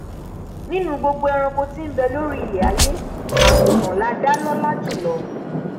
nínú gbogbo ẹranko tí nbẹ lórí aiyé àgùntàn lá dá lọla jùlọ